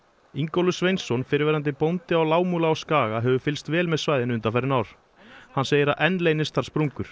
Ingólfur Sveinsson fyrrverandi bóndi á Lágmúla á Skaga hefur fylgst vel með svæðinu undanfarin ár hann segir að enn leynist þar sprungur